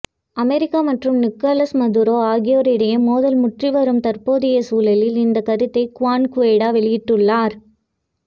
America மற்றும் Nicolas Maduro ஆகியோர் இடையே மோதல் முற்றிவரும் தற்போதைய சூழலில் இந்த கருத்தை குவான் குவைடோ வெளியிட்டுள்ளார்